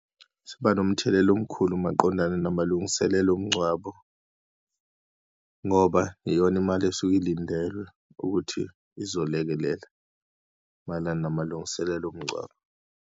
Siba nomthelela omkhulu maqondana namalungiselelo omngcwabo, ngoba iyona imali esuke ilindelwe ukuthi izolekelela mayelana namalungiselelo omngcwabo.